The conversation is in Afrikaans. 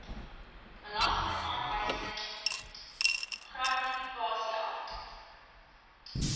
belastingaanwysing gratifikasie af